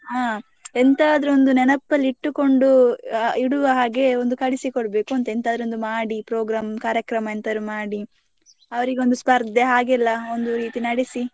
ಹಾ ಎಂತದ್ರು ನೆನಪಲ್ಲಿ ಇಟ್ಟುಕೊಂಡು ಅಹ್ ಇಡುವ ಹಾಗೆ ಒಂದು ಕಳಿಸಿಕೊಡ್ಬೇಕಂತ ಎಂತದ್ರೂ ಒಂದು ಮಾಡಿ program ಕಾರ್ಯಕ್ರಮ ಎಂತದ್ರೂ ಮಾಡಿ, ಅವ್ರಿಗೊಂದು ಸ್ಪರ್ಧೆ ಹಾಗೆಲ್ಲಾ ಒಂದು ರೀತಿ ನಡೆಸಿ.